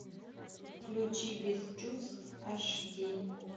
включи без чувств аш ди